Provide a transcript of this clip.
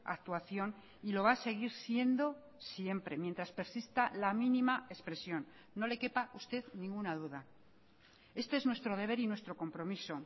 actuación y lo va a seguir siendo siempre mientras persista la mínima expresión no le quepa a usted ninguna duda este es nuestro deber y nuestro compromiso